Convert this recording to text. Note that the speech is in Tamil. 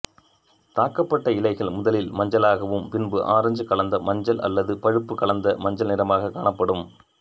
தாக்கப்பட்ட இலைகள் முதலில் மஞ்சளாகவும் பின்பு ஆரஞ்சு கலந்த மஞ்சள் அல்லது பழுப்பு கலந்த மஞ்சள் நிறமாகக் காணப்படும்